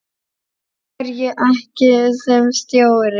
Af hverju ekki sem stjóri?